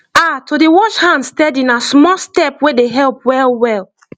ah to dey wash hand steady na small step wey dey help well well